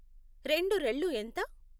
రెండు రెళ్ళు ఎంత?